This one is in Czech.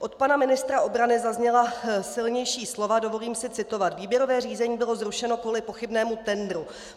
Od pana ministra obrany zazněla silnější slova - dovolím si citovat: "Výběrové řízení bylo zrušeno kvůli pochybnému tendru.